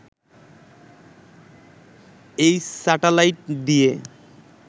এই স্যাটেলাইট দিয়ে